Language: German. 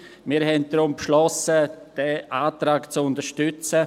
Wir haben deshalb beschlossen, diesen Antrag zu unterstützen.